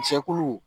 Jɛkulu